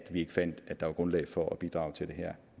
vi ikke fandt at der var grundlag for at bidrage til det her